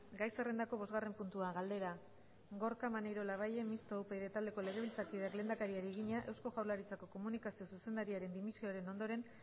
gai zerrendako bosgarren puntua galdera gorka maneiro labayen mistoa upyd taldeko legebiltzarkideak lehendakariari egina eusko jaurlaritzako komunikazio zuzendariaren dimisioaren ondoren